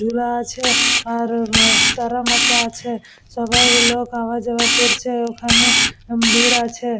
ধুলা আছে আর তারা মাচা আছে সবাই লোক আওয়া যাওয়া করছে ওখানে ভিড় আছে ।